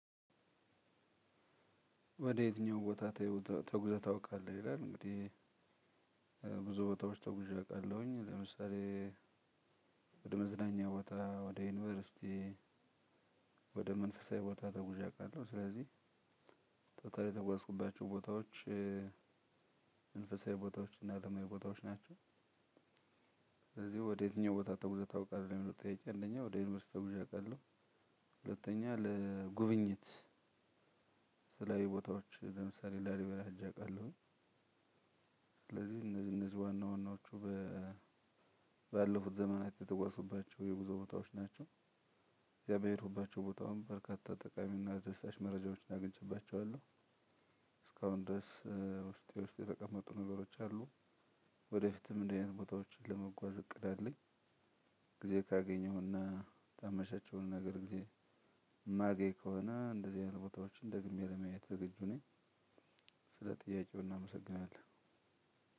ወደ የትኛው ቦታ ተጉዘህ ታውቃለህ? ይላል እንግዲህ ብዙ ቦታዎች ተጉዠ አውቃለሁኝ። ለምሳሌ ወደ መዝናኛ ቦታ ወደ ዩኒቨርሲቲ ወደ መንፈሳዊ ቦታ ተጉዣቃለሁ ስለዚህ ቶታሊ የተጓዝኩባቸው ቦታዎች መንፈሳዊ ቦታዎች እና አለማዊ ቦታዎች ናቸው። ስለዚህ ወዴትኛው ቦታ ተጉዘህ ታውቃለህ? ለሚለው ጥያቄ አንደኛ ወደ ዩኒቨርሲቲ ተጉዤ አውቃለሁ። ሁለተኛ ለጉብኝት የተለያዩ ቦታዎች ለምሳሌ ላሊበላ ሄጄ አውቃለሁ። ስለዚህ እነዚህ እነዚህ ዋና ዋናዎቹ ባለፉት ዘመናት የተጓዝኩባቸው የጉዞ ቦታዎች ናቸው። በሄድኩባቸው ቦታዎች በርካታ ጠቃሚና አስደሳች መረጃዎችን አግኝቼባቸዋለው። እስካሁን ድረስ ውስጤ ውስጥ የተቀመጡ ነገሮች አሉ። ወደፊትም እንደዚህ አይነት ቦታዎችን ለመጓዝ እቅድ አለኝ። ግዜ ካገኘሁና ታመቻቸውን ነገር ጊዜ ማገኝ ከሆነ እንደዚህ አይነት ቦታዎችን ደግሜ ለማየት ዝግጁ ነኝ። ስለ ጥያቄው እናመሰግናለን።